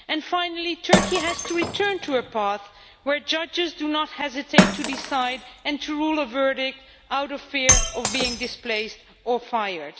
Finally, Turkey has to return to a path where judges do not hesitate to decide and to give a verdict out of fear of being displaced or fired.